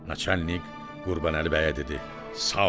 Naçalnik Qurbanəli bəyə dedi: Sağ ol!